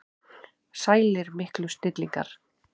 Sælir miklu snillingar!